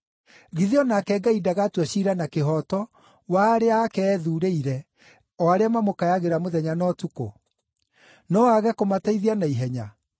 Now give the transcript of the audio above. Githĩ o nake Ngai ndagatua ciira na kĩhooto wa arĩa ake ethuurĩire, o arĩa mamũkayagĩra mũthenya na ũtukũ? No aage kũmateithia na ihenya?